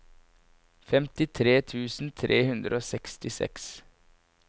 femtitre tusen tre hundre og sekstiseks